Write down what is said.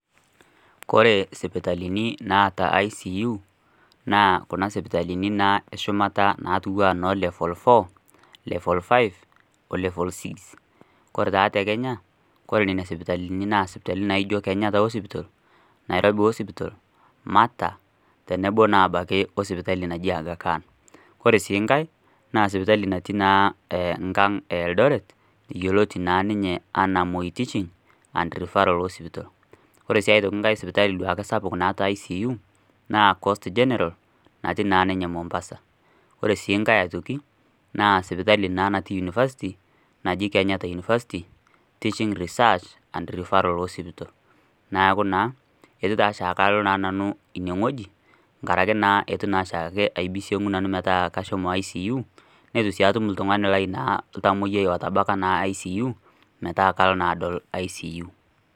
Kore sipitalini naata ICU naa kuna sipitalini naa eshumata naatu aanoolevol four, level five o  level six. Kore taa te Kenya ore nena sipitalini naa sipitalini naaijo Kenyatta Hospital, Nairobi Hospital, Mata, tenebo naa abaki o sipitali naji ene Agakan. Kore sii ngai naa sipitali natii naa ehh nkang' e Eldoret yoloti naa ninye anaa  Moi teaching and referral hospital. Ore sii aitoki ngai sipitali sapuk duake naata ICU naa Coast General natii naa ninye Mombasa. Ore sii ngai aitoki naa sipitali naa natii  unifasti naji Kenyatta University teaching research and referral hospital. Neaku naa eitu taa oshaake alo nanu inowueji engarake naa eitu naashiake aibisiong'u nanu metaa kashomo ICU neitu sii atum oltung'ani lai naa ltamoyai otabaika naa ICU metaa kalo naadolo ICU.